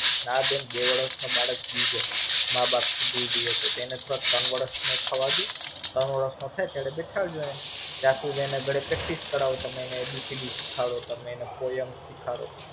ના બેન બે વર્ષ નો બાળક બી જય ત્રણ વર્ષ નું થવા ડો ત્રણ વર્ષ નો થઇ ત્યારે બેસાડજો ત્યાં સુધી અને ઘરે Practice કરાવો એને A B C D શીખવાડો તમે એને Poem શિખવાડો.